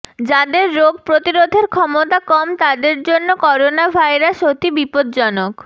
যাদের রোগ প্রতিরোধের ক্ষমতা কম তাদের জন্য করোনাভাইরাস অতি বিপজ্জনক